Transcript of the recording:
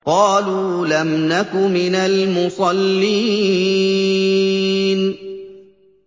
قَالُوا لَمْ نَكُ مِنَ الْمُصَلِّينَ